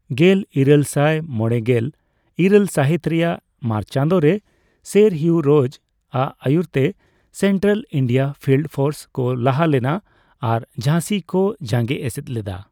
ᱜᱮᱞ ᱤᱨᱟᱹᱞ ᱥᱟᱭ ᱢᱚᱲᱮᱜᱮᱞ ᱤᱨᱟᱹᱞ ᱥᱟᱹᱦᱤᱛ ᱨᱮᱭᱟᱜ ᱢᱟᱨᱪ ᱪᱟᱸᱫᱳ ᱨᱮ, ᱥᱮᱨ ᱦᱤᱭᱩ ᱨᱳᱡᱽ ᱟᱜ ᱟᱭᱩᱨ ᱛᱮ, ᱥᱮᱱᱴᱨᱟᱞ ᱤᱱᱰᱤᱭᱟ ᱯᱷᱤᱞᱰ ᱯᱷᱳᱨᱥ ᱠᱚ ᱞᱟᱦᱟ ᱞᱮᱱᱟ ᱟᱨ ᱡᱷᱟᱸᱥᱤ ᱠᱚ ᱡᱟᱸᱜᱮ ᱮᱥᱮᱫ ᱞᱮᱫᱟ ᱾